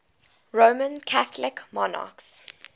roman catholic monarchs